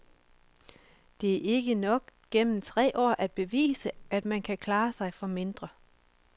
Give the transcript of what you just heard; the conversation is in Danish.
Det er ikke nok gennem tre år at bevise, at man kan klare sig for mindre.